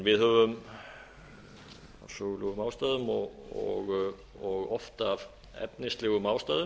við höfum af sögulegum ástæðum og oft af efnislegum ástæðum